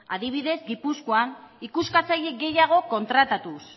adibidez gipuzkoan ikuskatzaile gehiago kontratatuz